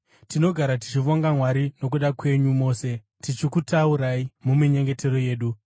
Tinogara tichivonga Mwari nokuda kwenyu mose, tichikutaurai muminyengetero yedu.